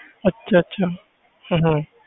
ਅੱਛਾ ਅੱਛਾ ਹਮ ਹਮ